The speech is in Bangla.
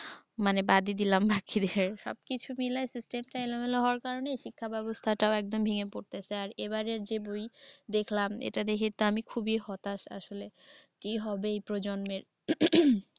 মানে বাদই দিলাম বাকিদের। সব কিছু মিলায়ে system টা এলোমেলো হওয়ার কারণে শিক্ষা ব্যবস্থাটাও একদম ভেঙে পরতেসে আর এবারের যে বই দেখলাম এটা দেখে তো আমি খুবই হতাশ আসলে। কি হবে এই প্রজন্মের।